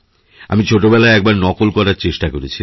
আমি ছোটবেলায়একবার নকল করার চেষ্টা করেছিলাম